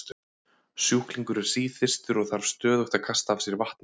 sjúklingur er síþyrstur og þarf stöðugt að kasta af sér vatni